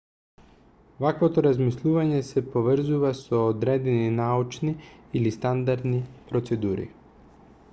ваквото размислување сe поврзува со одредени научни или стандардни процедури